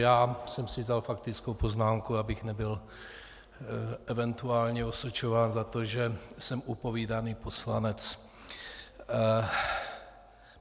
Já jsem si vzal faktickou poznámku, abych nebyl eventuálně osočován za to, že jsem upovídaný poslanec.